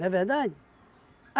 Não é verdade?